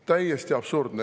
Täiesti absurdne!